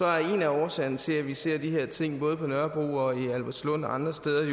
at en af årsagerne til at vi ser de her ting både på nørrebro og albertslund og andre steder i